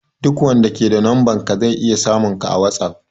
Duk wanda ke da numba naka zai iya samun ka a whatsapp